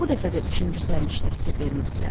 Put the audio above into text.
Bu dəfə də üçüncü sərnişinə fikir vermirdilər.